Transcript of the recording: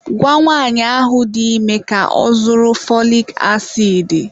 Gwa nwaanyị ahụ dị ime ka ọ zụrụ fọlik asidi.